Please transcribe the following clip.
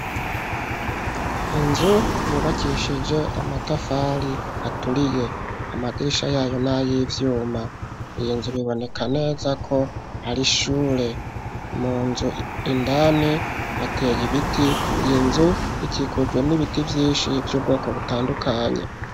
Inzu yubakishije amatafari aturiye, amadirisha yayo n'ayivyuma, iyi nzu biboneka neza ko hari ishure, mu nzu indani hateye ibiti, iyi nzu ikikujwe n'ibiti vyinshi vy'ubwoko butandukanye.